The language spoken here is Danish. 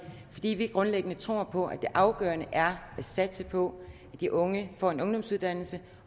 fordi vi grundlæggende tror på at det afgørende er at satse på at de unge får en ungdomsuddannelse